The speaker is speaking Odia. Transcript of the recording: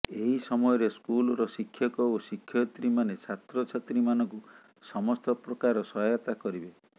ଏହି ସମୟରେ ସ୍କୁଲର ଶିକ୍ଷକ ଓ ଶିକ୍ଷୟିତ୍ରୀମାନେ ଛାତ୍ରଛାତ୍ରୀମାନଙ୍କୁ ସମସ୍ତ ପ୍ରକାର ସହାୟତା କରିବେ